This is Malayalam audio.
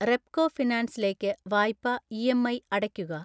റെപ്കോ ഫിനാൻസിലേക്ക് വായ്പാ ഇഎംഐ അടയ്ക്കുക.